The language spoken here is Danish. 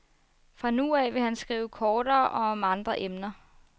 Fra nu af vil han skrive kortere og om andre emner.